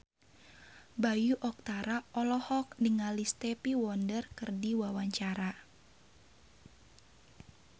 Bayu Octara olohok ningali Stevie Wonder keur diwawancara